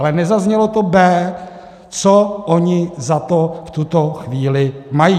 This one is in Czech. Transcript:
Ale nezaznělo to b), co oni za to v tuto chvíli mají.